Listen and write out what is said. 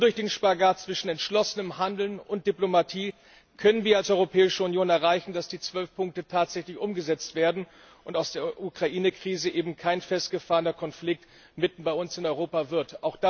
Nur durch den Spagat zwischen entschlossenem Handeln und Diplomatie können wir als Europäische Union erreichen, dass die zwölf Punkte tatsächlich umgesetzt werden und aus der Ukrainekrise eben kein festgefahrener Konflikt bei uns mitten in Europa wird.